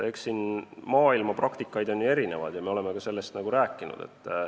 Eks siin maailmapraktikas on igasuguseid võimalusi ja me oleme ka sellest rääkinud.